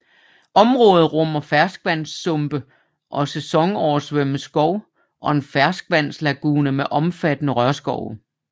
Området rummer ferskvandssumpe og sæsonoversvømmet skov og en ferskvandslagune med omfattende rørskove